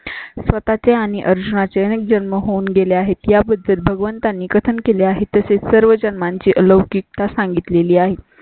स्वतः चे आणि अर्जुना चे जन्म होऊन गेले आहेत याबद्दल भगवंतांनी कथन केले आहे. तसंच सर्व जन्मा ची लवचिक ता सांगितले ली आहेत.